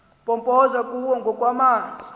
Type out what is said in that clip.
mpompoza kuwo ngokwamanzi